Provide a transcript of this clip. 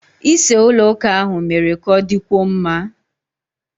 Ise ụlọ ụka ahụ mere ka ọ dịkwuo mma.